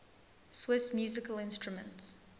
swiss musical instruments